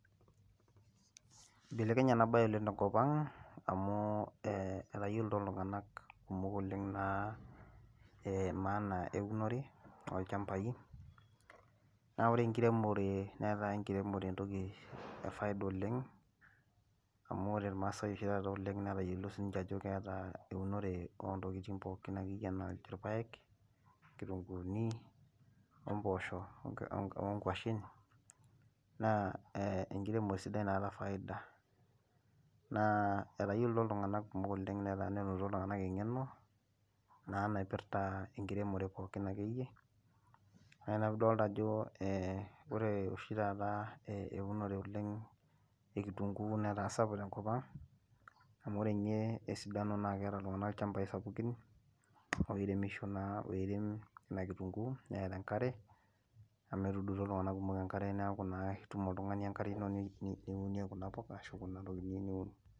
ibelekenye ena bae oleng tenkop ang amu etayioloito iltunganak kumok ee maana eunore toolchampai, naa ore enkirmore netaa enkiremore entoki e faida oleng, amu ore imaasai oshi taata oleng netayiolo sii ninche ajo keeta eunore oo ntokitin pookin anaa irpaek, ilukunkuni, ompoosho, onkuashen. naa enkiremore sidai naata faida. naa etayioloito iltunganak kumok oleng netaa keta iltnganak engeno. naa naipirta enkiremore pookin akeyei. naa ina piidolta asjo ore oshi taata euunore oleng ekitunkuu netaa sapuk tenkop ang'.amu ore ninye esidano naa keeta iltunganak ilchampai sapukin oiremsho naa oirem ina kitunkuu. neeta enkare amu etuudutuo iltunganak kumok enkare neeku itum oltungani enkare ino niunie kuna puka hu kuna tokitin niyieu niun.